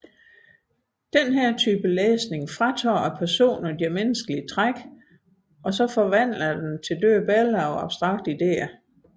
Denne type læsning fratager personerne deres menneskelige træk og forvandler dem til døde billeder på abstrakte idéer